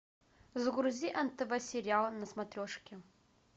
загрузи нтв сериал на смотрешке